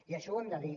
i això ho hem de dir